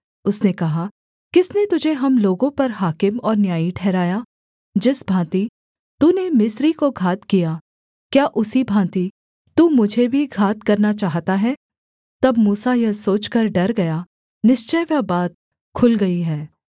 उसने कहा किसने तुझे हम लोगों पर हाकिम और न्यायी ठहराया जिस भाँति तूने मिस्री को घात किया क्या उसी भाँति तू मुझे भी घात करना चाहता है तब मूसा यह सोचकर डर गया निश्चय वह बात खुल गई है